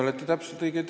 Aitäh küsimuse eest!